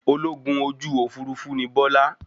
Ológun ojú òfurufú ní Bọ́lá.